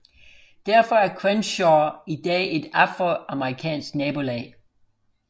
Derfor er Crenshaw i dag et afroamerikansk nabolag